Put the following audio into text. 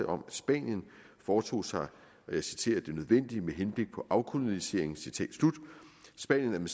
om at spanien foretog sig og jeg citerer det nødvendige med henblik på afkolonisering spanien